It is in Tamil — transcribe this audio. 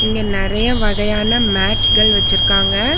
இங்க நெறைய வகையான மேட்கள் வச்சிருக்காங்க.